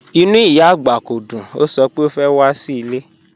Ìnú ìyá agbá kò dùn, o sọ̀ pẹ̀ o fẹ́ wà sí ilẹ̀.